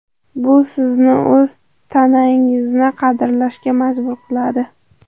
Bu sizni o‘z tanangizni qadrlashga majbur qiladi.